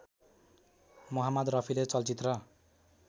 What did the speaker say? मोहाम्मद रफीले चलचित्र